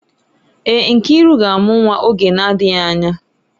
Èè, Nkiru ga-amụ nwa oge na-adịghị anya.